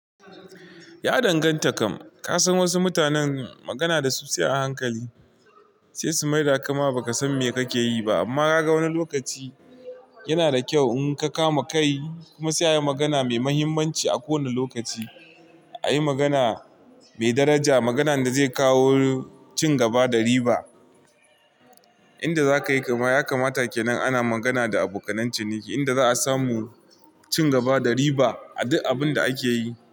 Ya danganta kam. Ka san wasu mutanen magana da su sai a hankali, sai su mai da kama ba ka san me kake yi ba. Amma kaga wani lokaci yana da kyau in ka kama kai kuma sai a yi magana mai mahimmanci a kowane lokaci. A yi magana mai daraja, maganan da zai kawo cin gaba da riba. Inda za ka yi, kama ya kamata ke nan ana magana da abokanan ciniki, inda za a samu cin gaba da riba a duk abun da ake yi.